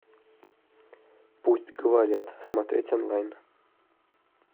пусть говорят смотреть онлайн